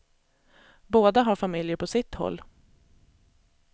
Båda har familjer på sitt håll.